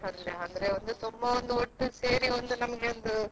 ಆಮೇಲೆ Kaup ಅಲ್ಲಿ ಉಂಟು, ಆಮೇಲೆ Padubidri Udupi ಅಲ್ಲಿ ಅಂದ್ರೆ ತುಂಬಾ ಒಂದು ಒಟ್ಟಿಗೆ ಸೇರಿ ಒಂದ್ ನಮ್ಗೆ ಒಂದು.